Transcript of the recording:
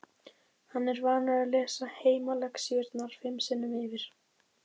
Hann er vanur að lesa heimalexíurnar fimm sinnum yfir.